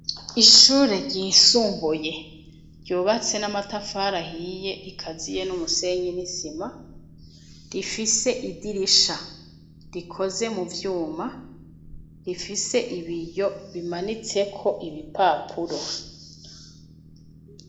Ishure ryisumbuye, ryubatse n'amatafari ahiye, rikaziye n'umusenyi n'isima, rifise idirisha rikoze mu vyuma, rifise ibiyo, bimanitseko ibipapuro.